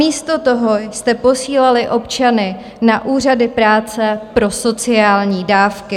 Místo toho jste posílali občany na úřady práce pro sociální dávky.